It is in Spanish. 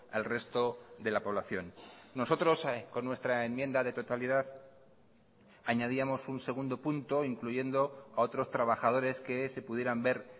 al resto de la población nosotros con nuestra enmienda de totalidad añadíamos un segundo punto incluyendo a otros trabajadores que se pudieran ver